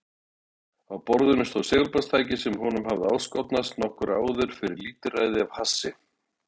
Á borðinu stóð segulbandstæki sem honum hafði áskotnast nokkru áður fyrir lítilræði af hassi.